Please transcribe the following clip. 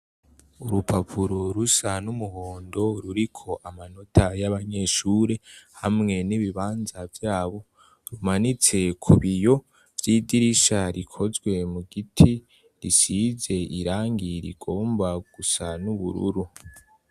Urupapuro rusa n'umuhondo ruriko amanota y'abanyeshuri, hamwe n'ibibanza vy'abo. Rumanitse ku biyo vy'idirisha rikozwe mu giti. Risize irangi rigomba gusa n'ubururu.